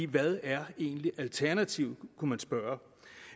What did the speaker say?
hvad er egentlig alternativet kunne man spørge